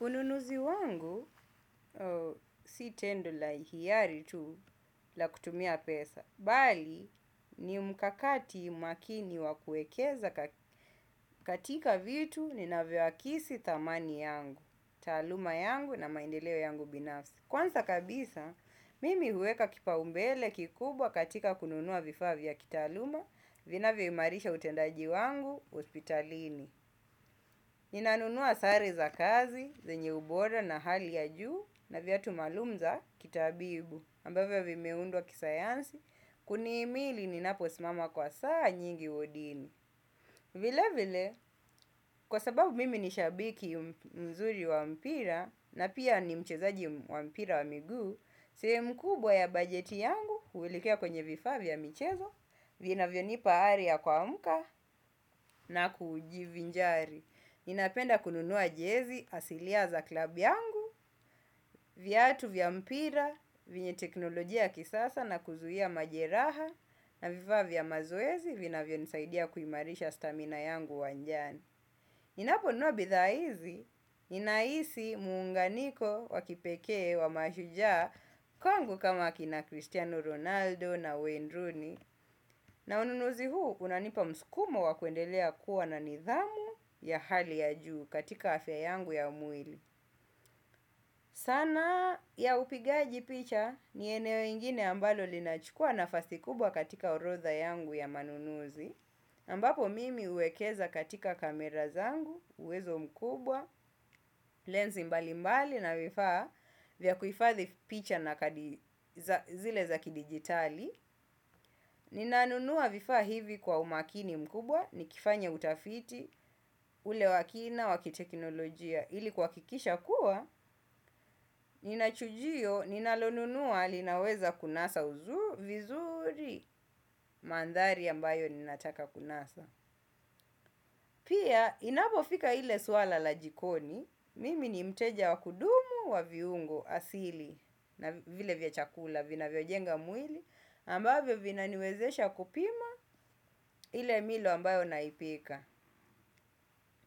Ununuzi wangu si tendo la hiari tu la kutumia pesa. Bali, ni mkakati makini wa kuwekeza katika vitu ninavyokisi tamani yangu, taaluma yangu na maendeleo yangu binafsi. Kwanza kabisa, mimi huweka kipaumbele kikubwa katika kununua vifaa vya kitaaluma, vinavyoimarisha utendaji wangu, hospitalini. Ninanunua sare za kazi, zenye ubora na hali ya juu na viatu maalum za kitabibu ambavyo vimeundwa kisayansi, kunihimili ninaposmama kwa saa nyingi wodini. Vile vile, kwa sababu mimi ni shabiki mzuri wa mpira na pia ni mchezaji wa mpira wa miguu. Sehemu kubwa ya bajeti yangu huelekea kwenye vifaa vya mchezo, vinavyonipa ari ya kuamka na kujivinjari. Ninapenda kununua jezi asilia za klabu yangu, viatu vya mpira, venye teknolojia ya kisasa na kuzuia majeraha na vifaa vya mazoezi vinavyonisaidia kuimarisha stamina yangu wanjani. Ninaponunua bidhaa hizi, ninahisi muunganiko wa kipekee wa mashujaa kwangu kama kina Cristiano Ronaldo na Wayne Rooney. Na ununuzi huu unanipa mskumo wa kuendelea kuwa na nidhamu ya hali ya juu katika afya yangu ya mwili. Sanaa ya upigaji picha ni eneo ingine ambalo linachukua nafasi kubwa katika orodha yangu ya manunuzi ambapo mimi huwekeza katika kamera zangu, uwezo mkubwa, lensi mbalimbali na vifaa vya kuhifadhi picha na kadi zile za kidijitali. Ninanunua vifaa hivi kwa umakini mkubwa, nikifanya utafiti, ule wa kina, wa kiteknolojia. Ili kuhakikisha kuwa, nina chujio, ninalonunua, linaweza kunasa vizuri, mandhari ambayo ninataka kunasa. Pia, inapofika ile suala la jikoni, mimi ni mteja wa kudumu, wa viungo, asili, na vile vya chakula, vinavyojenga mwili, ambavyo vinaniwezesha kupima ile milo ambayo naipika,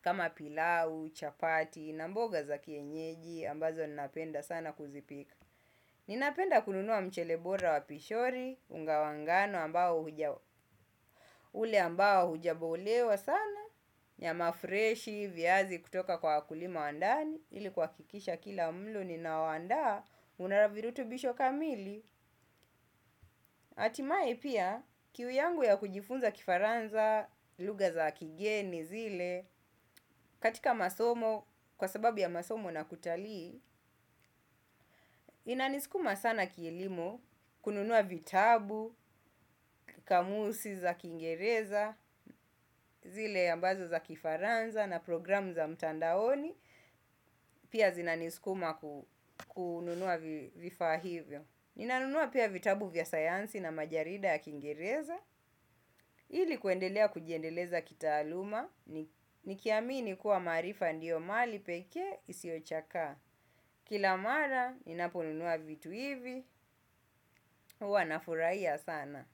kama pilau, chapati, na mboga za kienyeji, ambazo ninapenda sana kuzipika. Ninapenda kununua mchele bora wa pishori, unga wa ngano ambao hujabolewa sana, nyama freshi, viazi kutoka kwa wakulima wa ndani, ili kuhakikisha kila mlo ninaowaandaa, una virutubisho kamili. Hatimaye pia kiu yangu ya kujifunza kifaransa lugha za kigeni zile katika masomo kwa sababu ya masomo na kutali inanisikuma sana kielimu kununua vitabu, kamusi za kingereza, zile ambazo za kifaransa na programu za mtandaoni, pia zinanisikuma kununua vifaa hivyo. Ninanunua pia vitabu vya sayansi na majarida ya kiingereza, ili kuendelea kujiendeleza kitaaluma, nikiamini kuwa maarifa ndiyo mali pekee isiyochakaa. Kila mara, ninaponunua vitu hivi, huwa nafurahia sana.